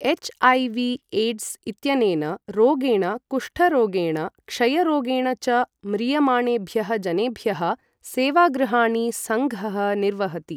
HIV AIDS इत्यनेन रोगेण, कुष्ठरोगेण, क्षयरोगेण च म्रियमाणेभ्यः जनेभ्यः सेवागृहाणि सङ्घः निर्वहति।